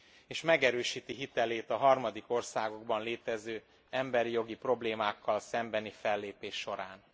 és megerősíti hitelét a harmadik országokban létező emberi jogi problémákkal szembeni fellépés során.